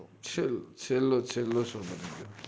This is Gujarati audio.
છેલ્લો છેલ્લો show બની ગયો